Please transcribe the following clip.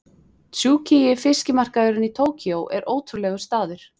Tsukiji fiskmarkaðurinn í Tókýó er ótrúlegur staður.